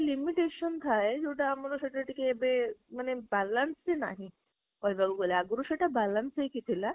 limitation ଥାଏ ଯୋଉଟା ଆମର ସେଟା ଟିକେ ଏବେ ମାନେ balance ହିଁ ନାହିଁ କହିବାକୁ ଗଲେ ଆଗରୁ ସେଇଟା balance ହେଇକ୍କୀ ଥିଲା